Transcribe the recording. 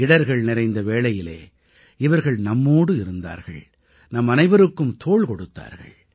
இடர்கள் நிறைந்த வேளையிலே இவர்கள் நம்மோடு இருந்தார்கள் நம்மனைவருக்கும் தோள் கொடுத்தார்கள்